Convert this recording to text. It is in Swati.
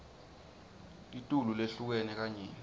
litulu lehlukene kanyenti